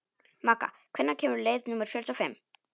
Magga, hvenær kemur leið númer fjörutíu og fimm?